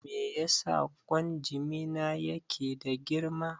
Me yasa ƙwan jimina yake da girma?